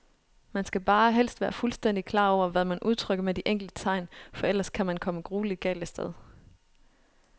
Man skal bare helst være fuldstændigt klar over, hvad man udtrykker med de enkelte tegn, for ellers kan man komme grueligt galt af sted.